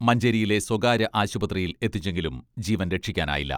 മഞ്ചേരിയിലെ സ്വകാര്യ ആശുപത്രിയിൽ എത്തിച്ചെങ്കിലും ജീവൻ രക്ഷിക്കാനായില്ല.